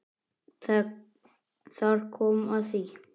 Þar kom að því!